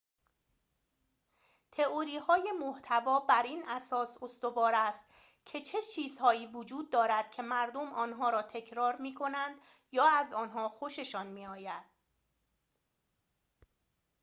تئوری‌های محتوا بر این اساس استوار است که چه چیزهایی وجود دارد که مردم آنها را تکرار می‌کنند یا از آنها خوششان می‌آید